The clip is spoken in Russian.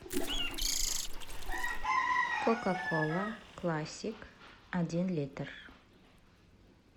кока кола классик один литр